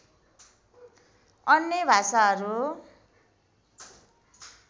अन्य भाषाहरू